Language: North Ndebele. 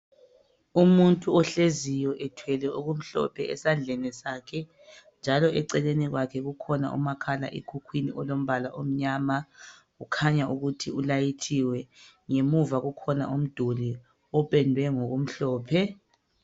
Umuntu ohleziyo ethwele okumhlophe esandleni sakhe njalo eceleni kwakhe kukhona umakhalekhukhwini olombala omnyama , ukhanya ukuthi ulayithiwe , ngemuva kukhona umduli opendwe ngokumhlophe